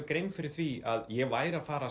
grein fyrir því að ég væri að fara að